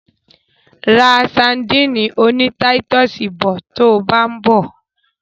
Ra sadíìnì oní táítọ̀sì bọ̀ to bá ń bọ̀.